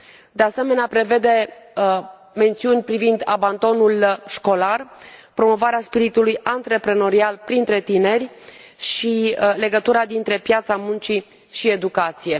De asemenea, prevede mențiuni privind abandonul școlar, promovarea spiritului antreprenorial printre tineri și legătura dintre piața muncii și educație.